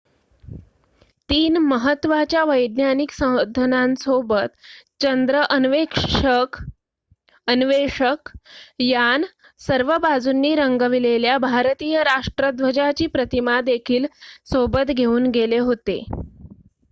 3 महत्त्वाच्या वैज्ञानिक साधनांसोबत चंद्र अन्वेषक यान सर्व बाजूंनी रंगविलेल्या भारतीय राष्ट्र ध्वजाची प्रतिमा देखील सोबत घेऊन गेले होते